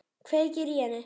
Kveikir í henni.